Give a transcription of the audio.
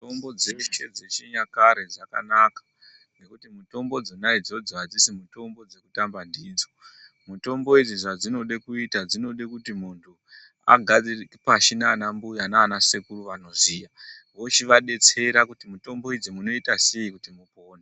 Mitombo dzeshe dzechinyakare dzakanaka nekuti mitombo dzona idzodzo hadzisi mitombo dzekutamba ndidzo. Mitombo idzi zvadzinoda kuita dzinoda kuti muntu agare pashi nanambuya nanasekuru vanoziya vochivabetsera kuti mitombo idzi munoita seyi kuti mupone.